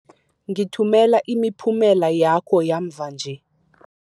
Ngithumela imiphumela yakho yamva nje.